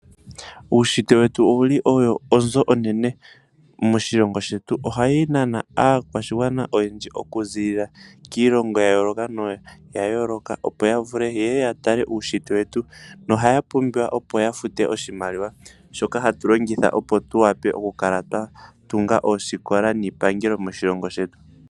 Uunshitwe owuli owo onzo onene moshilongo shetu. Ohawu nana aakwashigwana oyendji okuziilila kiilongo yayoolokathana opo ya vule yeye yatale uunshitwe wetu. Ohaya futu oshimaliwa shoka hatu longitha opo tutunge oosikola niipangelo moshilongo shetu.